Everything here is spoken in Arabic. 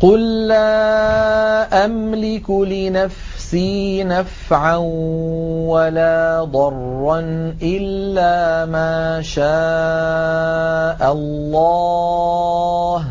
قُل لَّا أَمْلِكُ لِنَفْسِي نَفْعًا وَلَا ضَرًّا إِلَّا مَا شَاءَ اللَّهُ ۚ